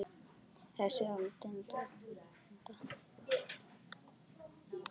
Þessi er á enda.